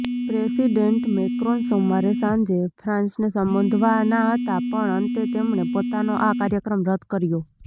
president Macron સોમવારે સાંજે ફ્રાન્સને સંબોધવાના હતા પણ અંતે તેમણે પોતાનો આ કાર્યક્રમ રદ કર્યો